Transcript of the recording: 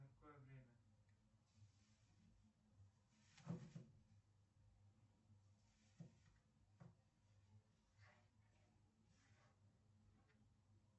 какое время